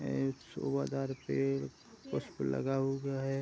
उपसे लगा हुआ है।